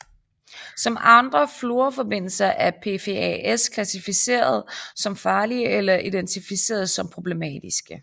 Som andre fluorforbindelser er PFAS klassificeret som farlige eller identificeret som problematiske